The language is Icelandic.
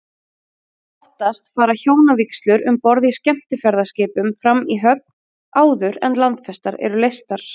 Oftast fara hjónavígslur um borð í skemmtiferðaskipum fram í höfn, áður en landfestar eru leystar.